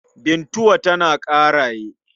Bintuwa tana Ƙaraye.